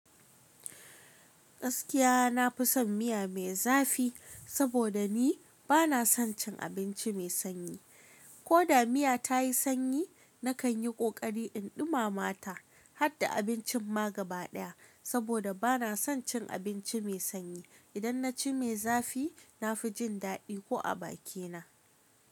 Gaskiya na fi son miya mai zafi saboda ni ba na son cin abinci mai sanyi. Ko da miya ta yi sanyi, na kan yi ƙoƙari in ɗumama ta hadda abincin ma gaɓa ɗaya saboda ba na son cin abinci mai sanyi. Idan na ci mai zafi, na fi jin daɗi ko a bakina.